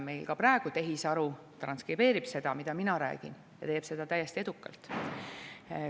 Meil ka praegu tehisaru transkribeerib seda, mida mina räägin, ja teeb seda täiesti edukalt.